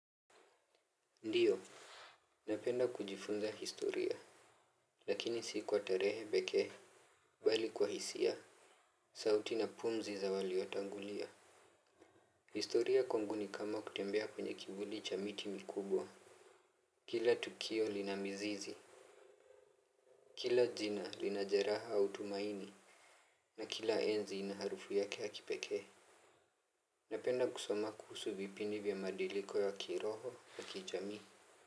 Ndio. Napenda kujifunza historia. Lakini si kwa tarehe pekee bali kwa hisia. Sauti na pumzi za walio tangulia. Historia kwangu ni kama kutembea kwenye kivuli cha miti mikubwa. Kila tukio lina mizizi. Kila jina linajeraha au tumaini. Na kila enzi ina harufu yake ya kipekee. Napenda kusoma kuhusu vipindi vya mabadiliko ya kiroho wa kijamii.